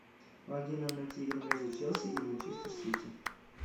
помоги нам найти игру между челси и манчестер сити